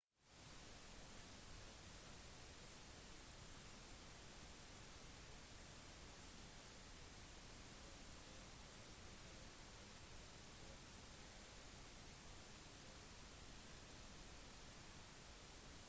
hemmeligheten bak suksessen er nisjekonseptet en spesiell jobb hver katt har som forhindrer at den konkurrerer med andre